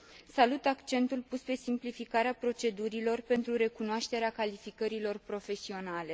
Salut accentul pus pe simplificarea procedurilor pentru recunoașterea calificărilor profesionale.